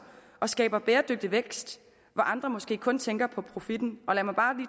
og skaber bæredygtig vækst hvor andre måske kun tænker på profitten og lad mig bare